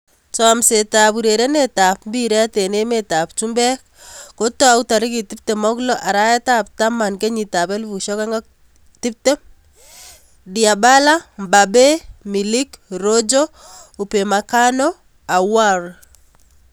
Chomset ab urerenet ab mbiret eng emet ab chumbek kotaai 26.10.2020 : Dybala, Mbappe, Milik, Rojo, Upamecano, Aouar